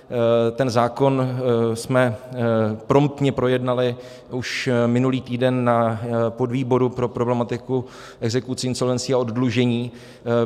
Ten zákon jsme promptně projednali už minulý týden na podvýboru pro problematiku exekucí, insolvencí a oddlužení.